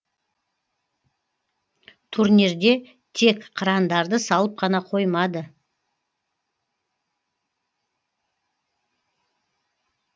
турнирде тек қырандарды салып қана қоймады